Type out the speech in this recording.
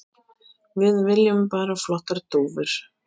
Við viljum bara flottar dúfur.